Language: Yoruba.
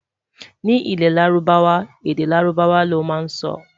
Ní ilè lárúbáwá, èdè lárùbáwá ló má n sọ